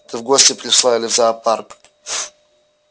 ты в гости пришла или в зоопарк